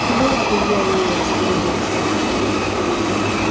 херово илья ею распорядился